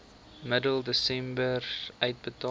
middel desember uitbetaal